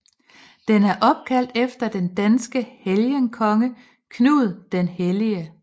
Den er opkaldt efter den danske helgenkonge Knud den Hellige